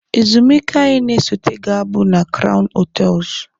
Ezumike anyị na-esote ga-abụ na kraun hotels